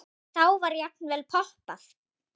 Og þá var jafnvel poppað.